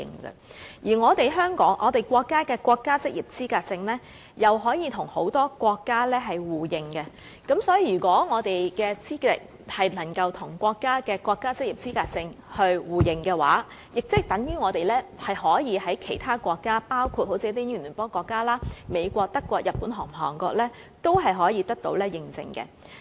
此外，由於國家職業資格證可與很多國家互認，所以，如果我們的職業資格能夠跟國家職業資格證互認的話，等於我們可以在其他國家，包括英聯邦國家、美國、德國、日本及韓國等地得到認證。